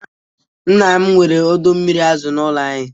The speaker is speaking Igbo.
Nna m nwere ọdọ mmiri azu n'ụlọ anyị.